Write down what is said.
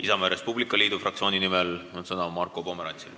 Isamaa ja Res Publica Liidu fraktsiooni nimel on sõna Marko Pomerantsil.